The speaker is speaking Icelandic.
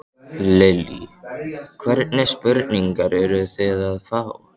Lillý: Hvernig spurningar eruð þið að fá?